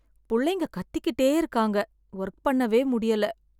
புள்ளைங்க கத்திகிட்டே இருக்காங்க, ஒர்க் பண்ணவே முடியல.